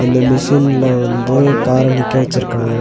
இந்த மிஷின்ல வந்து கார நிக்க வெச்சிருக்காங்க.